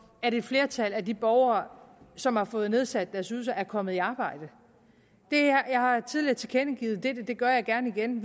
at et flertal af de borgere som har fået nedsat deres ydelse er kommet i arbejde jeg har tidligere tilkendegivet og det gør jeg gerne igen